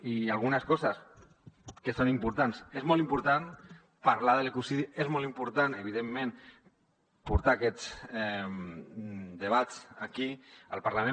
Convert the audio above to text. i algunes coses que són importants és molt important parlar de l’equilibri és molt important evidentment portar aquests debats aquí al parlament